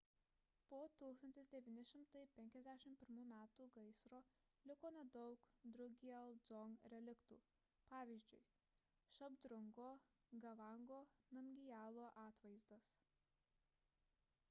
po 1951 m gaisro liko nedaug drukgyal dzong reliktų pvz. šabdrungo ngavango namgijalo atvaizdas